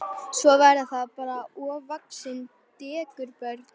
Svo verða þetta bara ofvaxin dekurbörn.